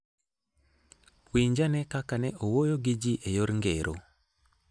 Winj ane kaka ne owuoyo gi ji e yor ngero: